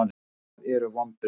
Hvað eru vonbrigði?